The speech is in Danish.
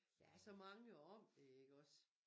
Der er så mange om det ikke iggås